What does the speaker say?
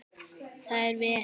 Það er vel.